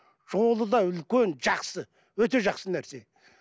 жолы да үлкен жақсы өте жақсы нәрсе